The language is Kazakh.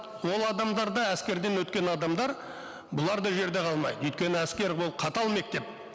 ол адамдар да әскерден өткен адамдар бұлар да жерде қалмайды өйткені әскер ол қатал мектеп